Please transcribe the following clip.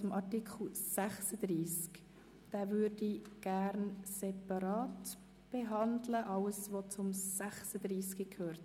Artikel 36 würde ich gerne separat behandeln, mit allem was dazu gehört.